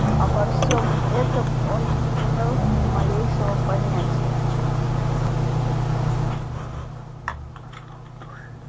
обо всем этом он не имел ни малейшего понятия